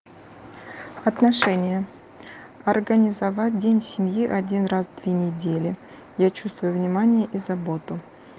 отношения организовать день семьи один раз две недели я чувствую внимание и заботу